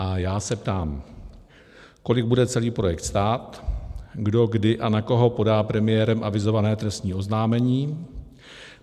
A já se ptám, kolik bude celý projekt stát, kdo kdy a na koho podá premiérem avizované trestní oznámení.